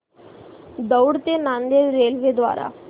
दौंड ते नांदेड रेल्वे द्वारे